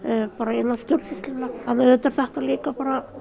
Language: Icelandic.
innan stjórnsýslunnar auðvitað er þetta líka